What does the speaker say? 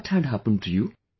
What had happened to you